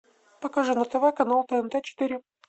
покажи на тв канал тнт четыре